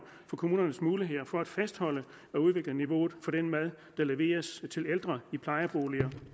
for kommunernes muligheder for at fastholde og udvikle niveauet for den mad der leveres til ældre i plejeboliger